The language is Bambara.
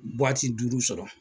duuru sɔrɔ.